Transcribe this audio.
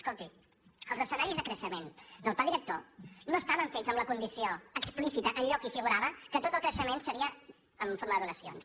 escolti els escenaris de creixement del pla director no estaven fets amb la condició explícita enlloc hi figurava que tot el creixement seria en forma de donacions